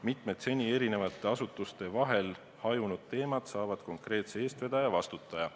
Mitmed seni eri asutuste vahel hajunud teemad saavad konkreetse eestvedaja, vastutaja.